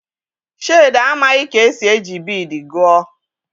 Shade amaghị ka esi eji biidii gụọ.